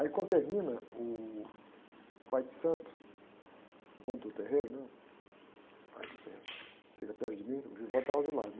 Aí quando termina, o pai de santo, o dono do terreiro, né? O pai do terreiro, chega perto de mim, o estava do lado.